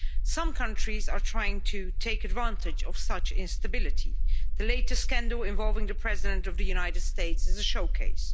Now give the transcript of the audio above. Some countries are trying to take advantage of such instability the latest scandal involving the President of the United States is a showcase.